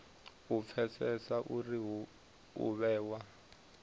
u pfesesa uri u vhewa